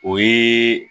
O ye